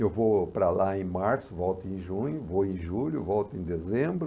Eu vou para lá em março, volto em junho, vou em julho, volto em dezembro.